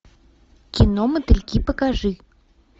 кино мотыльки покажи